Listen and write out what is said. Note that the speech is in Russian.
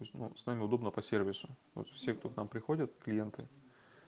ну с вами удобно по сервису вот все кто к нам приходят клиенты